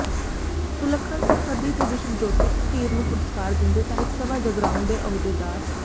ਸੁਲੱਖਣ ਸਰਹੱਦੀ ਤੇ ਵਿਸ਼ਵ ਜੋਤੀ ਧੀਰ ਨੂੰ ਪੁਰਸਕਾਰ ਦਿੰਦੇ ਸਾਹਿਤ ਸਭਾ ਜਗਰਾਉਂ ਦੇ ਅਹੁਦੇਦਾਰ